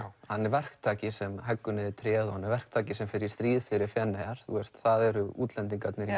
hann er verktaki sem heggur niður tréð hann er verktaki sem fer í stríð fyrir Feneyjar það eru útlendingarnir í